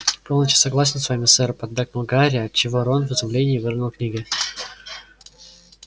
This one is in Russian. полностью согласен с вами сэр поддакнул гарри отчего рон в изумлении выронил книги